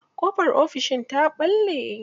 Ƙofar ofishin ta ɓalle.